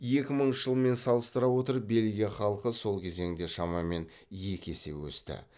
екі мыңыншы жылмен салыстыра отырып бельгия халқы сол кезеңде шамамен екі есе өсті